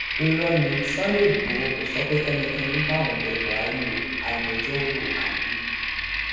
irọ ní sunday igbop kò sọ pé kẹnikẹni bá òun bẹ buhari oagbejọrò aliu